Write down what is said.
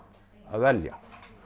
að velja